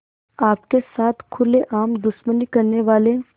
आपके साथ खुलेआम दुश्मनी करने वाले